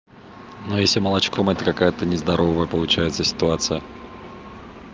но если молочком это какая-то нездоровая получается ситуация